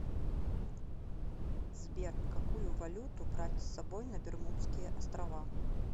сбер какую валюту брать с собой на бермудские острова